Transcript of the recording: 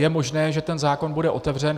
Je možné, že ten zákon bude otevřen.